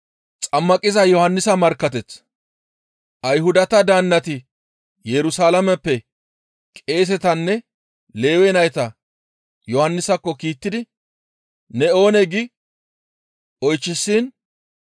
Ayhudata daannati Yerusalaameppe qeesetanne Lewe nayta Yohannisakko kiittidi, «Ne oonee?» gi oychchishin,